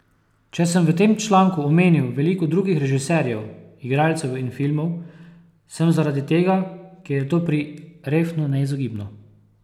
Če sem v tem članku omenil veliko drugih režiserjev, igralcev in filmov, sem zaradi tega, ker je to pri Refnu neizogibno.